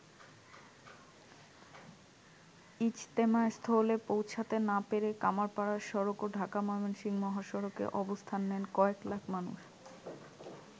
ইজতেমাস্থলে পৌঁছাতে না পেরে কামাড়পাড়া সড়ক ও ঢাকা-ময়মনসিংহ মহাসড়কে অবস্থান নেন কয়েক লাখ মানুষ।